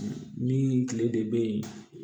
Min kile de bɛ ye